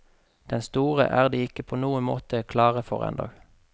Den store er de ikke på noen måte klare for ennå.